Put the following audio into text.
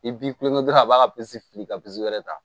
I b'i kulokɛ dɔrɔn a b'a ka fili ka wɛrɛ ta